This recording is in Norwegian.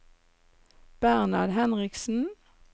Bernhard Henriksen